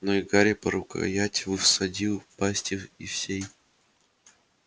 но и гарри по рукоять всадил клинок в небо змеиной пасти и всей